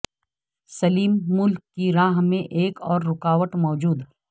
سلیم ملک کی راہ میں ایک اور رکاوٹ موجود